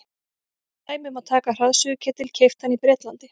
sem dæmi má taka hraðsuðuketil keyptan í bretlandi